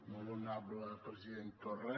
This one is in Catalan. molt honorable president torra